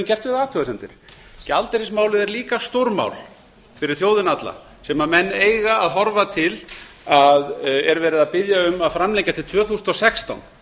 gert vi það athugasemdir gjaldeyrismálið er líka stórmál fyrir þjóðina alla sem menn eiga að horfa til að er verið að biðja um að framlengja til tvö þúsund og sextán